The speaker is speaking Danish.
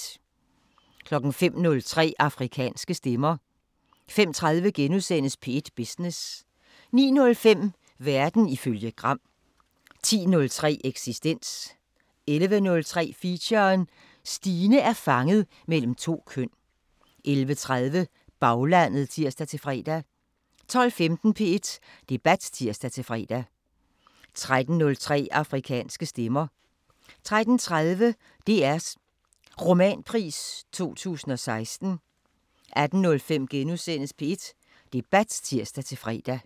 05:03: Afrikanske Stemmer 05:30: P1 Business * 09:05: Verden ifølge Gram 10:03: Eksistens 11:03: Feature: Stine er fanget mellem to køn 11:30: Baglandet (tir-fre) 12:15: P1 Debat (tir-fre) 13:03: Afrikanske Stemmer 13:30: DRs Romanpris 2016 18:05: P1 Debat *(tir-fre)